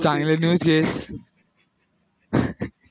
चांगले दिवस येत